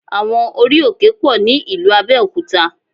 Àwọn orí-òkè pọ̀ ní ìlú Abẹ́òkúta